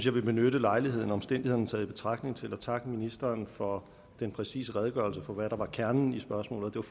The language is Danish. vil benytte lejligheden omstændighederne taget i betragtning til at takke ministeren for den præcise redegørelse for hvad der er kernen i spørgsmålet